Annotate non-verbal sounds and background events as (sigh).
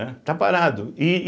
(unintelligible) Está parado. e